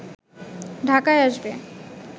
ঢাকায় আসবে